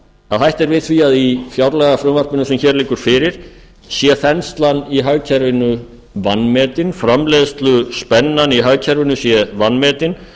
að hætt er við því að í fjárlagafrumvarpinu sem hér liggur fyrir sé þenslan í hagkerfinu vanmetin framleiðsluspennan í hagkerfinu sé vanmetin